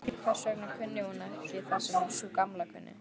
Hvers vegna kunni hún ekki það sem sú Gamla kunni?